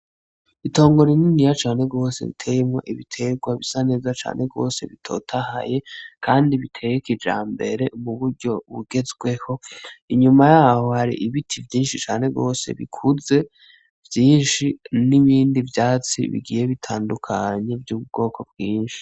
Itongo rininiya cane gwose riteyemwo ibitegwa bisa neza cane gwose bitotahaye kandi biteye kijambere mu buryo bugezweho. Inyuma yaho hari ibiti vyinshi cane gwose bikuze vyinshi n'ibindi vyatsi bigiye bitandukanye vy'ubwoko bwinshi.